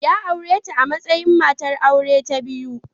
Ya aure ta a matsayin matar aure ta biyu.